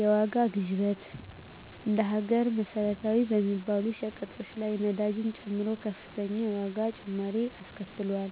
የዋጋ ግሽበት እንደ ሀገር መሰረታዊ በሚባሉ ሸቀጦች ላይ ነዳጅን ጨምሮ ከፍተኛ የዋጋ ጭማሪ አስከትሏል።